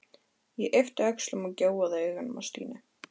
Ég yppti öxlum og gjóaði augunum á Stínu.